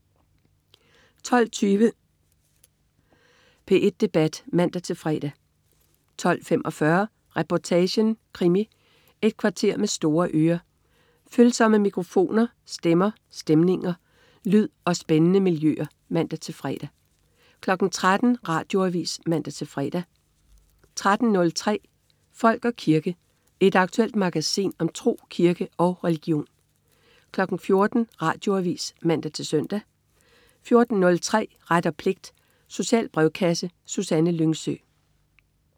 12.20 P1 Debat (man-fre) 12.45 Reportagen: Krimi. Et kvarter med store ører, følsomme mikrofoner, stemmer, stemninger, lyd og spændende miljøer (man-fre) 13.00 Radioavis (man-fre) 13.03 Folk og kirke. Et aktuelt magasin om tro, kirke og religion 14.00 Radioavis (man-søn) 14.03 Ret og pligt. Social brevkasse. Susanne Lyngsø